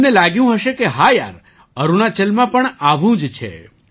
તમને લાગ્યું હશે કે હા યાર અરુણાચલમાં પણ આવું જ છે